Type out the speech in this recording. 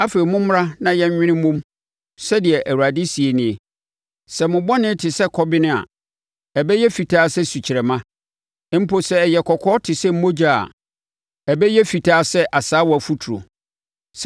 “Afei mommra na yɛnnwene mmɔ mu,” sɛdeɛ Awurade seɛ nie. “Sɛ mo bɔne te sɛ kɔben a, ɛbɛyɛ fitaa sɛ sukyerɛmma; mpo sɛ ɛyɛ kɔkɔɔ te sɛ mogya a ɛbɛyɛ fitaa sɛ asaawa foturo.